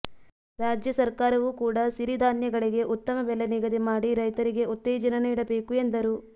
ರಾಜ್ಯ ಸರ್ಕಾರವೂ ಕೂಡ ಸಿರಿಧಾನ್ಯಗಳಿಗೆ ಉತ್ತಮ ಬೆಲೆ ನಿಗದಿ ಮಾಡಿ ರೈತರಿಗೆ ಉತ್ತೇಜನ ನೀಡಬೇಕು ಎಂದರು